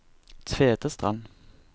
Tvedestrand